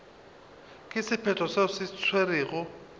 ka sephetho se se tšerwego